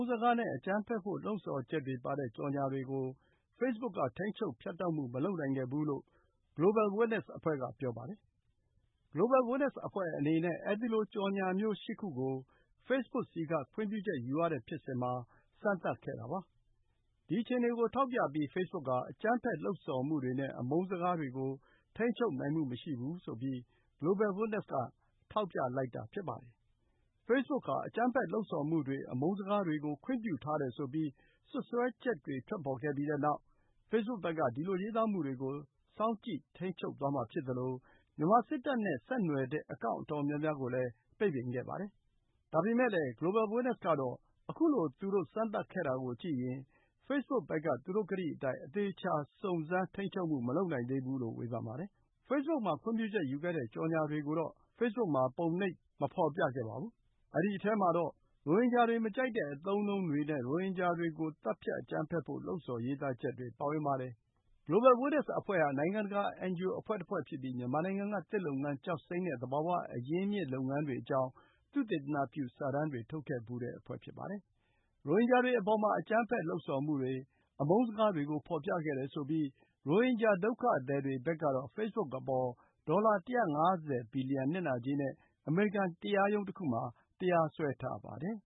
းစကားနဲ့ အကြမ်းဖက်ဖို့လှုံ့ဆော်ချက်တွေပါတဲ့ ကြော်ငြာချက်တွေကို Facebook က ထိန်းချုပ် ဖြတ်တောက်မှုမလုပ်နိုင်ခဲ့ဘူးလို့ Global Witness အဖွဲ့က ပြောပါတယ်။ Global Witness အဖွဲ့အနေနဲ့ အဲဒီလို ကြော်ငြာမျိုး (၈) ခုကို facebook ဆီမှာ ခွင့်ပြုချက်ယူ စမ်းသပ်ခဲ့တာပါ။ ဒီအခြေအနေကိုထောက်ပြပြီး Facebook ဟာ အကြမ်းဖက်လှုံ့ဆော်မှုတွေနဲ့ အမုန်းစကားတွေကို ထိန်းချုပ်နိုင်မှုမရှိဘူးဆိုပြီး Global Witness က ထောက်ပြလိုက်တာပါ။ Facebook ဟာ အကြမ်းဖက် လှုံ့ဆော်မှုတွေ၊ အမုန်းစကားတွေကို ခွင့်ပြုထားတယ်ဆိုပြီး စွပ်စွဲချက်တွေထွက်ပေါ်ခဲ့ပြီးနောက် Facebook ဘက်က ဒီလို ရေးသားမှုတွေကို စောင့်ကြည့်ထိန်းချုပ်သွားမှာဖြစ်သလို မြန်မာစစ်တပ်နဲ့ဆက်နွယ်တဲ့ အကောင့်အတော်များများကိုလည်း ပိတ်ပင်ခဲ့ပါတယ်။ ဒါပေမယ့်လည်း Global Witness ကတော့ အခုလို သူတို့စမ်းသပ်ခဲ့တာကိုကြည့်ရင် Facebook ဘက်က သူတို့ကတိအတိုင်း အသေအချာ စုံစမ်း ထိန်းချုပ်မှု မလုပ်နိုင်သေးဘူးလို့ ဝေဖန်ပါတယ်။ Facebook မှာ ခွင့်ပြုချက်ယူခဲ့တဲ့ ကြော်ငြာတွေကိုတော့ Facebook မှာ ပုံနှိပ်ဖော်ပြမှုမလုပ်ခဲ့ပါဘူး။ အဲဒီထဲမှာတော့ ရိုဟင်ဂျာတွေ မကြိုက်တဲ့အသုံးအနှုံးတွေနဲ့ ရိုဟင်ဂျာတွေကို သတ်ဖြတ်အကြမ်းဖက်ဖို့ လှုံဆော်ရေးသားချက်တွေပါဝင်ပါတယ်။ Global Witness အဖွဲ့ဟာ နိုင်ငံတကာ NGO အဖွဲ့တဖွဲ့ ဖြစ်ပြီး မြန်မာနိုင်ငံက သစ်လုပ်ငန်း၊ ကျောက်စိမ်းနဲ့ သဘာဝ အရင်းအမြစ်လုပ်ငန်းတွေအကြောင်း သုတေသနပြု စာတမ်းတွေ ထုတ်ခဲ့ဖူးတဲ့ အဖွဲ့ ဖြစ်ပါတယ်။ ရိုဟင်ဂျာတွေအပေါ် အကြမ်းဖက် လှုံ့ဆော်မှုတွေ၊ အမုန်းစကားတွေကို ဖော်ပြခဲ့တယ်ဆိုပြီး ရိုဟင်ဂျာ ဒုက္ခသည်တွေဘက်ကတော့ ဖေ့ဘွတ်အပေါ် ဒေါ်လာ ၁၅၀ ဘီလီယံ နစ်နာကြေးနဲ့ အမေရိကန်တရားရုံးတခုမှာ တရားစွဲထားပါတယ်